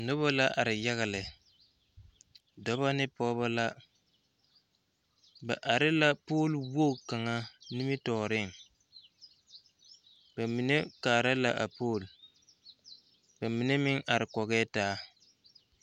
Noba la are yaga lɛ dɔba ne pɔgeba la ba are la poolwogi kaŋa nimitɔɔreŋ ba mine kaara la a pool ba mine meŋ are kɔgɛɛ taa.